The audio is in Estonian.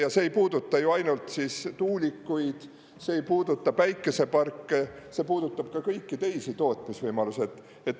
Ja see ei puuduta ju ainult tuulikuid, see ei puuduta päikeseparke, see puudutab ka kõiki teisi tootmisvõimalusi.